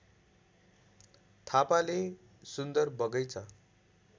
थापाले सुन्दर बगैँचा